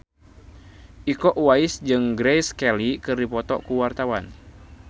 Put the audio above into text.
Iko Uwais jeung Grace Kelly keur dipoto ku wartawan